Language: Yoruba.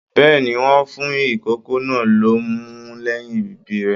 Bẹ́ẹ̀ni, wọn fún ikòkò náà l'ọmú lẹyìn ibí rẹ.